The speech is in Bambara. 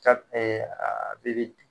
Taa ɛɛ